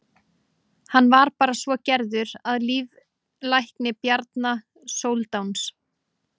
hann var svo gerður að líflækni bjarna sóldáns